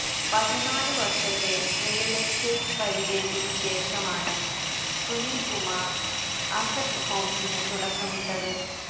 പതിനാലുവർഷത്തെ real estate പരിചയത്തിനുശേഷമാണ് Sunil Kumar asset ഹോംസിനു തുടക്കമിട്ടത്